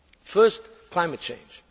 First, climate change.